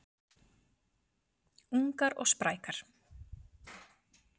Ungar og sprækar